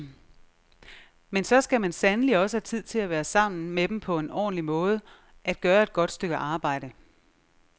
Men så skal man sandelig også have tid til at være sammen med dem på en ordentlig måde, at gøre et godt stykke arbejde.